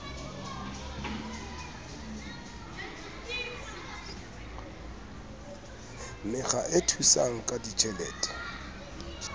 mekga e thusang ka ditjhelete